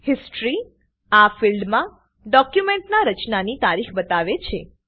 history - આ ફિલ્ડમાં ડોક્યુમેન્ટના રચનાની તારીખ બતાવે છે